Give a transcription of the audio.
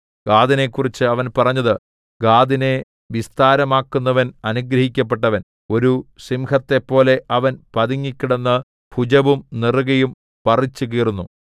ഗാദിനെക്കുറിച്ച് അവൻ പറഞ്ഞത് ഗാദിനെ വിസ്താരമാക്കുന്നവൻ അനുഗ്രഹിക്കപ്പെട്ടവൻ ഒരു സിംഹത്തെപ്പോലെ അവൻ പതുങ്ങിക്കിടന്ന് ഭുജവും നെറുകയും പറിച്ചുകീറുന്നു